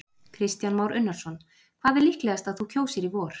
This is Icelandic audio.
Kristján Már Unnarsson: Hvað er líklegast að þú kjósir í vor?